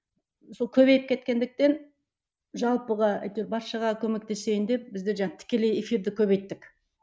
сол көбейіп кеткендіктен жалпыға баршаға көмектесейін деп біздер тікелей эфирді көбейттік